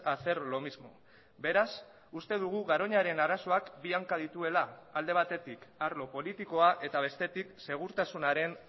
a hacer lo mismo beraz uste dugu garoñaren arazoak bi hanka dituela alde batetik arlo politikoa eta bestetik segurtasunaren